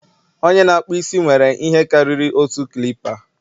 onye na-akpụ isi nwere ihe karịrị otu clipa